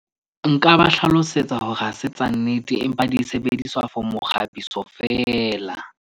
Nka ba hlalosetsa hore ha se tsa nnete empa di sebediswa for mokgabiso feela.